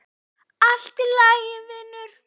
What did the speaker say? Allt í lagi, vinur.